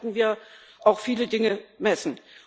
Daran werden wir auch viele Dinge messen.